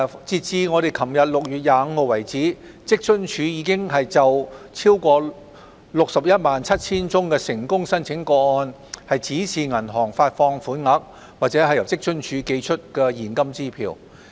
截至昨天6月25日為止，職津處已就超過 617,000 宗成功申請個案指示銀行發放款額，或由職津處寄出現金支票。